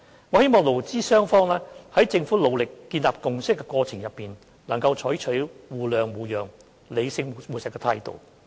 我希望勞資雙方在政府努力建立共識的過程中，能採取互諒互讓、理性務實的態度。